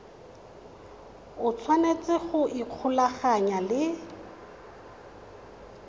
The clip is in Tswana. o tshwanetse go ikgolaganya le